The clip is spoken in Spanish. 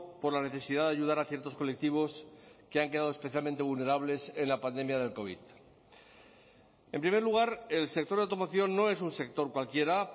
por la necesidad de ayudar a ciertos colectivos que han quedado especialmente vulnerables en la pandemia del covid en primer lugar el sector de automoción no es un sector cualquiera